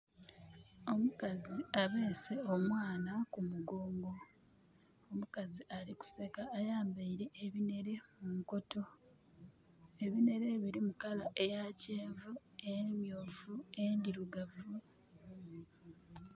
Omukazi abeese omwana ku mugongo . Omukazi ali kuseka ayambaile ebinhere munkoto. Ebinhere bilimu colour eya kyenvu, emyuufu, endhirugavu